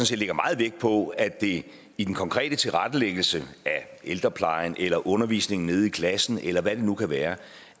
set lægger meget vægt på at det i den konkrete tilrettelæggelse af ældreplejen eller undervisningen nede i klassen eller hvad det nu kan være